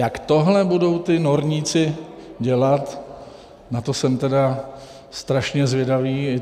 Jak tohle budou ti norníci dělat, na to jsem tedy strašně zvědavý.